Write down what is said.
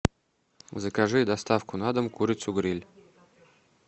закажи доставку на дом курицу гриль